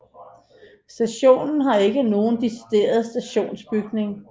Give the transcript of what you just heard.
Stationen har ikke nogen decideret stationsbygning